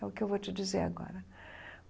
É o que eu vou te dizer agora.